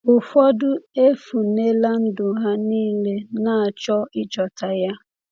Ụfọdụ efunela ndụ ha niile na-achọ ịchọta ya.